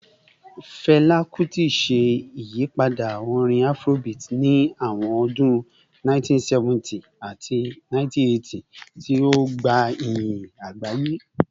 Fẹla Kuti ṣe iyipada orin Afrobeat ni awọn ọdun 1970 ati 1980, ti o gba iyin agbaye.